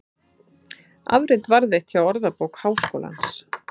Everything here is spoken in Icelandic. Afrit varðveitt hjá Orðabók Háskólans.